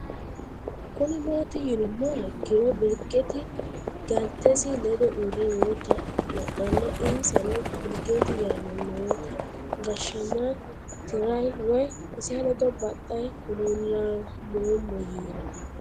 Kuni mati yinumoha ikiro biligeti galitesi ledo uure noo ta lanana insano biligeti yaana nooto gashamaya tirayani woyi ise ledo baxayani hululamomo yiino